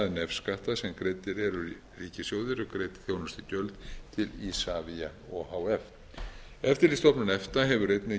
nefskatta sem greiddir eru ríkissjóði eru greidd þjónustugjöld til isavia o h f eftirlitsstofnun efta hefur einnig